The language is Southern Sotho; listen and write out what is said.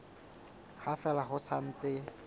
ha fela ho sa ntse